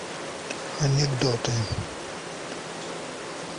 анекдоты